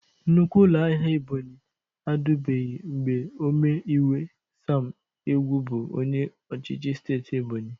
Nnukwu ụlọ ahịa Ebonyị adịbụghị mgbe ome iwe Sam Egwu bụ onye ọchịchị steeti Ebonyi.